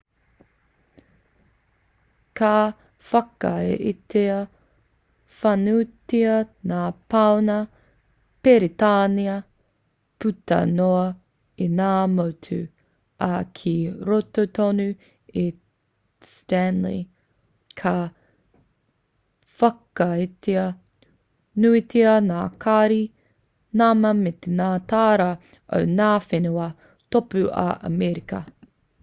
ka whakaaetia whānuitia ngā pauna peretānia puta noa i ngā motu ā ki roto tonu i stanley ka whakaaetia nuitia ngā kāri nama me ngā tāra o ngā whenua tōpū o amerika